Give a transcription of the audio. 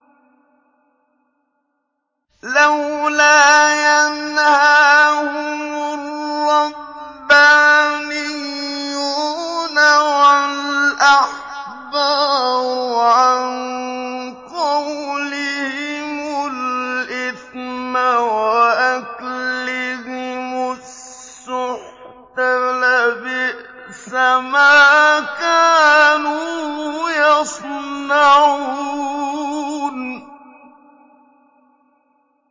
لَوْلَا يَنْهَاهُمُ الرَّبَّانِيُّونَ وَالْأَحْبَارُ عَن قَوْلِهِمُ الْإِثْمَ وَأَكْلِهِمُ السُّحْتَ ۚ لَبِئْسَ مَا كَانُوا يَصْنَعُونَ